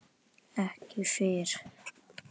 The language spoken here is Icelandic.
Ekki fyrr.